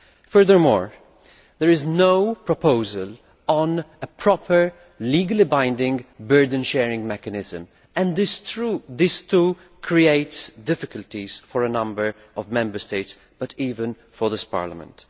Furthermore, there is no proposal on a proper, legally binding burden sharing mechanism and this, too, creates difficulties for a number of Member States, and indeed for this Parliament.